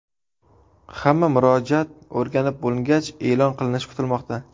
Hamma murojaat o‘rganib bo‘lingach, e’lon qilinishi kutilmoqda.